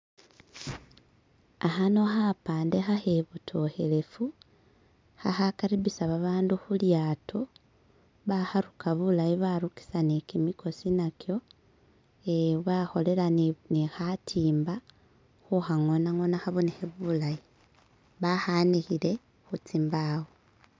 Khano kapande khahibodokelevu khakhakaribbusa abantu ku lyato, bakharuka bulaayi barukisa ni kyimukuwa nakyo, bakolera ni khatimba khu khannona nnona khabonekele bulayi, bakhanikire khu zimbawo